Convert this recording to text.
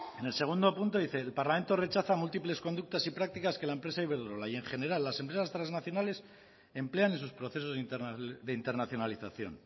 en el segundo punto dice el parlamento rechaza múltiples conductas y prácticas que la empresa iberdrola y en general las empresas transnacionales emplean en sus procesos de internacionalización